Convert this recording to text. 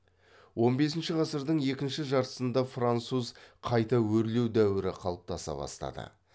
он бесінші ғасырдың екінші жартысында француз қайта өрлеу дәуірі қалыптаса бастады